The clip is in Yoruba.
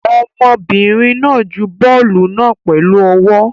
Ọmọbìnrin náà ju bọ́ọ́lù náà pẹ̀lú ọwọ́.